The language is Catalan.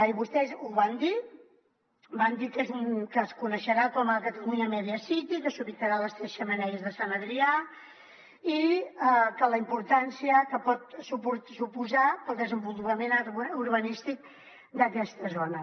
i vostès ho van dir van dir que es coneixerà com a catalunya media city que s’ubicarà a les tres xemeneies de sant adrià i la importància que pot suposar per al desenvolupament urbanístic d’aquesta zona